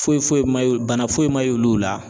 Foyi foyi ma ye bana foyi ma ye olu la